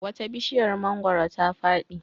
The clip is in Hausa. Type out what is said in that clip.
Wata bishiyar mangwaro ta fadi.